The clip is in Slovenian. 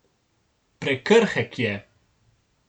Prekrhek je.